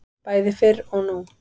Bæði fyrr og nú.